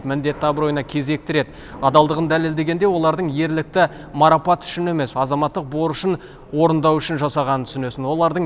міндетті абыройына кезекті рет адалдығын дәлелдегенде олардың ерлікті марапат үшін емес азаматтық борышын орындау үшін жасағанын түсінесін олардың